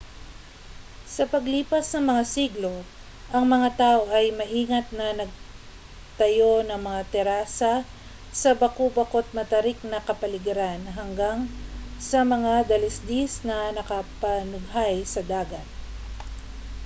sa paglipas ng mga siglo ang mga tao ay maingat na nagtayo ng mga terasa sa baku-bako't matarik na kapaligiran hanggang sa mga dalisdis na nakapanunghay sa dagat